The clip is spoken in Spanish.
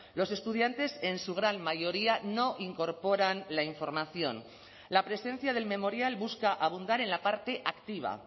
los estudiantes en su gran mayoría no incorporan la información la presencia del memorial busca abundar en la parte activa